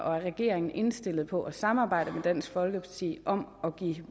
om regeringen er indstillet på at samarbejde med dansk folkeparti om at give